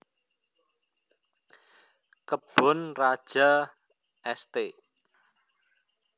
Kebon Raja St